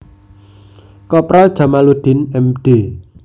Kopral Jamaluddin Md